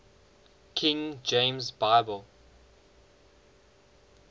king james bible